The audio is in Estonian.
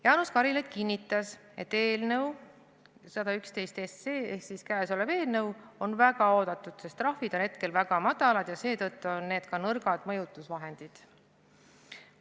Jaanus Karilaid kinnitas, et eelnõu 111 ehk käesolev eelnõu on väga oodatud, sest trahvid on hetkel väga madalad ja seetõttu on need ka nõrgad mõjutusvahendid.